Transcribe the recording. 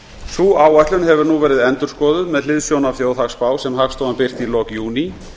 sú áætlun hefur nú verið endurskoðuð með hliðsjón af þjóðhagsspá sem hagstofan birti í lok júní